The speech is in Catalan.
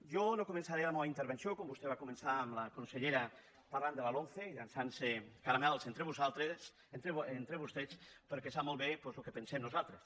jo no començaré la meua intervenció com vostè va co·mençar amb la consellera parlant de la lomce i llan·çant·se caramels entre vosaltres entre vostès perquè sap molt bé doncs el que pensem nosaltres